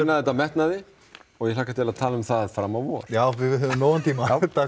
þetta af metnaði og ég hlakka til að tala um það fram á vor já við höfum nægan tíma